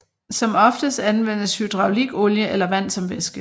Som oftest anvendes hydraulikolie eller vand som væske